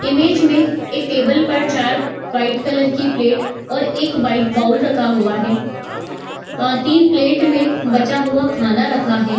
image में एक table पर चार वाइट कलर की प्लेट और एक वाइट बाउल रखा हुआ है | आ तीन प्लेट में बचा हुआ खाना रखा है |